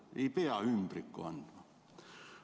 Ei pea ümbrikku andma.